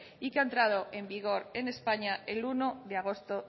y que ha entrado en vigor en españa el uno de agosto